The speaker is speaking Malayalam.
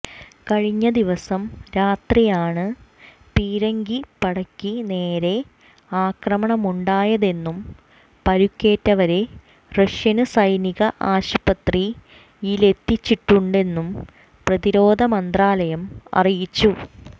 കഴിഞ്ഞ ദിവസം രാത്രിയാണ് പീരങ്കിപ്പടക്ക് നേരെ ആക്രമണമുണ്ടായതെന്നും പരുക്കേറ്റവരെ റഷ്യന് സൈനിക ആശുപത്രിയിലെത്തിച്ചിട്ടുണ്ടെന്നും പ്രതിരോധ മന്ത്രാലയം അറിയിച്ചു